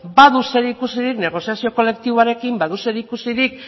badu zer ikusirik negoziazio kolektiboarekin badu zer ikusirik